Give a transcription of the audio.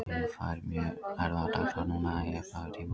Liðið fær mjög erfiða dagskrá núna í upphafi tímabils.